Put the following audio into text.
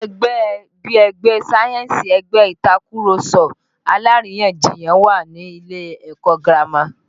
Àwọn ẹgbẹ́ bí ẹgbẹ́ sáyẹ́ǹsì, ẹgbẹ́ Ìtàkurọ̀sọ alárìyanjiyàn wà ní ilé ẹ̀kọ́ girama